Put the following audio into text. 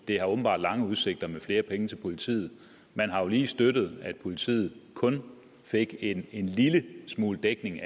det har åbenbart lange udsigter med flere penge til politiet man har jo lige støttet at politiet kun fik en lille smule dækning